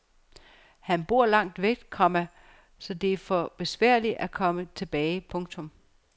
Han bor langt væk, komma så det er for besværligt at komme tilbage. punktum